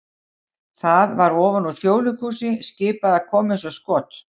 það var ofan úr Þjóðleikhúsi skipað að koma eins og skot!